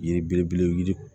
Yiri belebele yiri